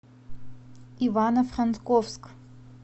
ивано франковск